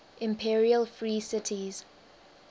imperial free cities